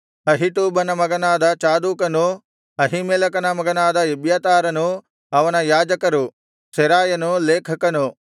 ಅಹೀಟೂಬನ ಮಗನಾದ ಚಾದೋಕನೂ ಅಹೀಮೆಲೆಕನ ಮಗನಾದ ಎಬ್ಯಾತಾರನೂ ಅವನ ಯಾಜಕರು ಸೆರಾಯನು ಲೇಖಕನು